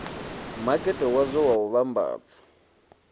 makete wadzo wa u vhambadza